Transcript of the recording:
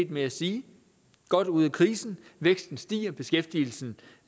med at sige godt ude af krisen væksten stiger beskæftigelsen